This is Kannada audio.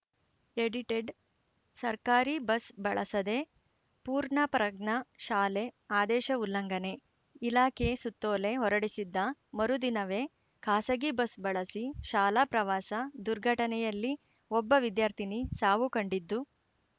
ಎಡಿಟೆಡ್‌ ಸರ್ಕಾರಿ ಬಸ್‌ ಬಳಸದೇ ಪೂರ್ಣಪ್ರಜ್ಞ ಶಾಲೆ ಆದೇಶ ಉಲ್ಲಂಘನೆ ಇಲಾಖೆ ಸುತ್ತೋಲೆ ಹೊರಡಿಸಿದ್ದ ಮರುದಿನವೇ ಖಾಸಗಿ ಬಸ್‌ ಬಳಸಿ ಶಾಲಾ ಪ್ರವಾಸ ದುರ್ಘಟನೆಯಲ್ಲಿ ಒಬ್ಬ ವಿದ್ಯಾರ್ಥಿನಿ ಸಾವು ಕಂಡಿದ್ದು